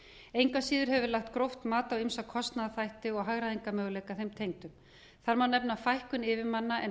að síður hefur verið lagt gróft mat á ýmsa kostnaðarþætti og hagræðingarmöguleika þeim tengdum þar má nefna fækkun yfirmanna en